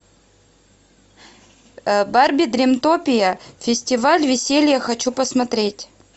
барби дримтопия фестиваль веселья хочу посмотреть